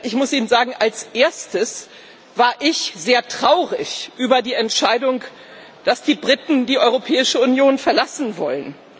Ich muss Ihnen sagen, als Erstes war ich sehr traurig über die Entscheidung, dass die Briten die Europäische Union verlassen wollen.